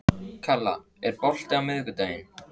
Kalla, er bolti á miðvikudaginn?